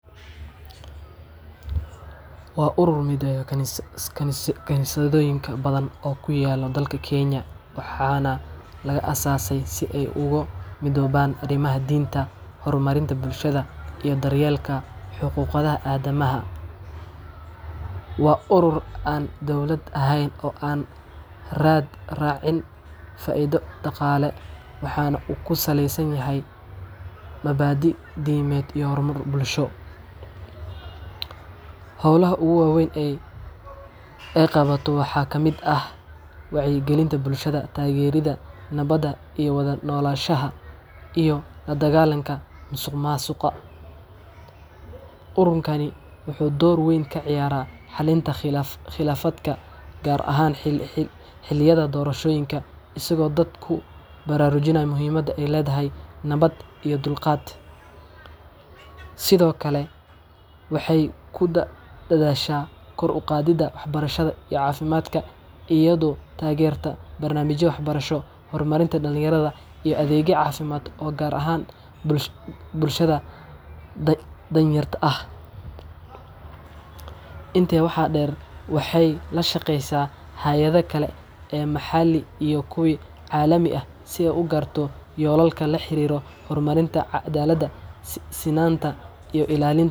Waa urur mideeya kaniisiyado badan oo ku yaalla dalka Kenya, waxaana la aasaasay si ay ugu midoobaan arrimaha diinta, horumarinta bulshada, iyo daryeelka xuquuqda aadanaha. NCCK waa urur aan dawli ahayn oo aan raad raacin faa’iido dhaqaale, waxaana uu ku saleysan yahay mabaadii’da diimeed iyo horumar bulsho. Howlaha ugu waaweyn ee ay NCCK qabato waxaa ka mid ah wacyigelinta bulshada, taageeridda nabadda iyo wada noolaanshaha, iyo la dagaallanka musuqmaasuqa. Ururkani wuxuu door weyn ka ciyaaraa xallinta khilaafaadka, gaar ahaan xilliyada doorashooyinka, isagoo dadka ku baraarujiyo muhiimadda ay leedahay nabad iyo dulqaad. Sidoo kale, NCCK waxay ku dadaashaa kor u qaadidda waxbarashada iyo caafimaadka iyadoo taageerta barnaamijyo waxbarasho, horumarinta dhallinyarada, iyo adeegyo caafimaad oo gaara bulshada danyarta ah. Intaa waxaa dheer, NCCK waxay la shaqeysaa hay’adaha kale ee maxalli iyo kuwa caalami ah si ay u gaarto yoolalkeeda la xiriira horumarinta cadaaladda, sinaanta, iyo ilaalin.